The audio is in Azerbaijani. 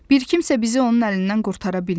Bir kimsə bizi onun əlindən qurtara bilmir.